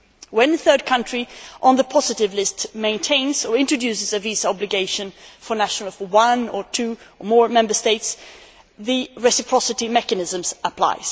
When a third country on the positive list maintains or introduces a visa obligation for nationals of one, two or more Member States, the reciprocity mechanisms apply.